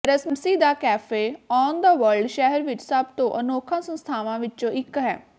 ਰਮਸੀ ਦਾ cafe on the world ਸ਼ਹਿਰ ਵਿਚ ਸਭ ਤੋਂ ਅਨੋਖਾ ਸੰਸਥਾਵਾਂ ਵਿਚੋਂ ਇਕ ਹੈ